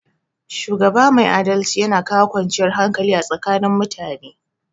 Shugaba mai adalci yana kawo kwanciyar hakali a tsakanin mutane